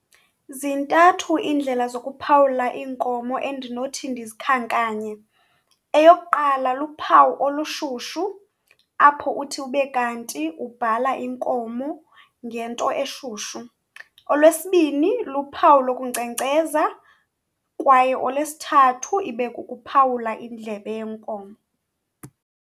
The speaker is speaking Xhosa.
Ziintathu iindlela zokuphawula iinkomo endinothi ndizikhankanye. Eyokuqala, luphawu olushushu apho uthi ube kanti ubhala inkomo ngento eshushu. Olwesibini, luphawu lokunkcenkceza kwaye olwesithathu ibe kukuphawula indlebe yenkomo.